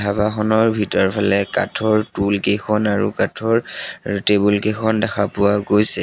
দোকানখনৰ ভিতৰফালে কাঠৰ তুলকেইখন আৰু কাঠৰ টেবুল কেইখন দেখা পোৱা গৈছে।